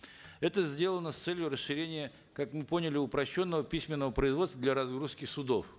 это сделано с целью расширения как мы поняли упрощенного письменного производства для разгрузки судов